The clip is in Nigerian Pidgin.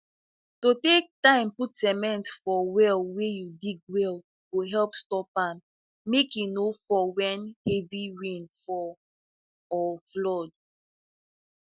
to take time put cement for well wey you dig well go help stop ahm ahm make e no fall when heavy rainfall or flood